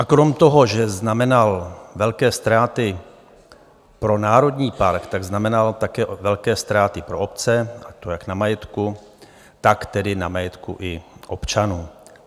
A krom toho, že znamenal velké ztráty pro národní park, tak znamenal také velké ztráty pro obce, a to jak na majetku, tak tedy na majetku i občanů.